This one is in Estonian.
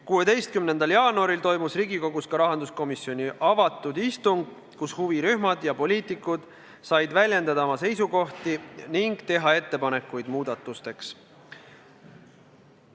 16. jaanuaril toimus Riigikogus ka rahanduskomisjoni avatud istung, kus huvirühmad ja poliitikud said väljendada oma seisukohti ning teha ettepanekuid muudatusteks.